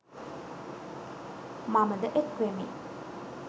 මමද එක්වෙමි